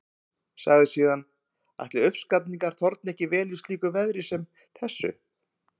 Sagði síðan: Ætli uppskafningur þorni vel í slíku veðri sem þessu?